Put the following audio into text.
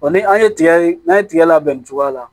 Ɔ ni an ye tigɛ n'an ye tigɛ labɛn nin cogoya la